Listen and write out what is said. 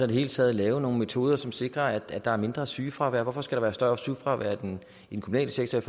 i hele taget lave nogle metoder som sikrer at der er mindre sygefravær hvorfor skal være større sygefravær i den kommunale sektor i